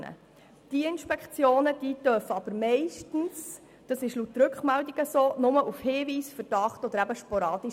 Gemäss Rückmeldungen wurden diese Inspektionen aber zumeist nur aufgrund eines Hinweises oder Verdachts vorgenommen oder dann eben sporadisch.